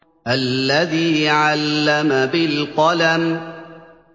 الَّذِي عَلَّمَ بِالْقَلَمِ